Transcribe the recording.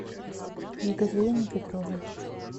екатерине петровой